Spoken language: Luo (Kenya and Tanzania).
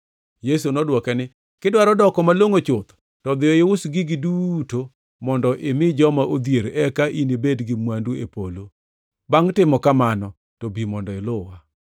Yesu nodwoke niya, “Kidwaro doko malongʼo chuth to dhiyo ius gigi duto mondo imi joma odhier eka inibed gi mwandu e polo. Bangʼ timo kamano to bi mondo iluwa.”